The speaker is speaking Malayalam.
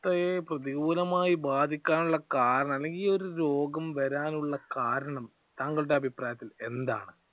ഇത്രയും പ്രതികൂലമായി ബാധിക്കാനുള്ള കാരണം അല്ലെങ്കിൽ ഈയൊരു രോഗം വരാനുള്ള കാരണം താങ്കളുടെ അഭിപ്രായത്തിൽ എന്താണ്?